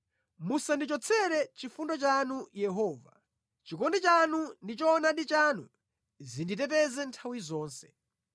Musandichotsere chifundo chanu Yehova; chikondi chanu ndi choonadi chanu zinditeteze nthawi zonse.